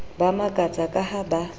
ba makatsa ka ha ba